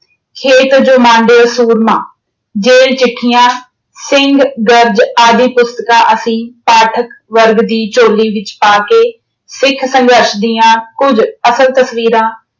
ਸੂਰਮਾ, ਜ਼ੇਲ ਚਿੱਠੀਆਂ, ਸਿੰਘ ਦਰਦ ਆਦਿ ਪੁਸਤਕਾਂ ਅਸੀਂ ਪਾਠਕ ਵਰਗ ਦੀ ਝੋਲੀ ਵਿੱਚ ਪਾ ਕੇ ਸਿੱਖ ਸੰਘਰਸ਼ ਦੀਆਂ ਕੁੱਝ ਅਸਲ ਤਸਵੀਰਾਂ